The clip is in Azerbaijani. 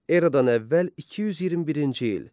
Eradan əvvəl 221-ci il.